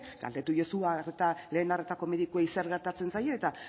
galdeiezu lehen arretako medikuei zer gertatzen zaien eta